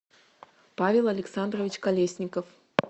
павел александрович колесников